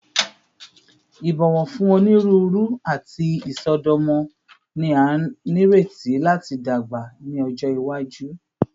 Ibọwọ fun oniruuru ati isọdọmọ ni a nireti lati dagba ni ọjọ iwaju